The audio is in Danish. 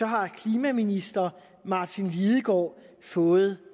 har klimaminister martin lidegaard fået